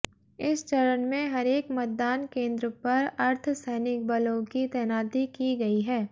इस चरण में हरेक मतदान केंद्र पर अर्धसैनिक बलों की तैनाती की गयी है